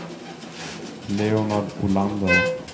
Leonard Olander